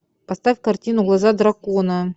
поставь картину глаза дракона